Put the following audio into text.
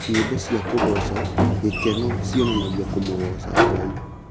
Nyĩmbo cia kũgoca, gĩkeno cionanagia kũmũgoca Ngai.